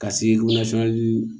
Ka se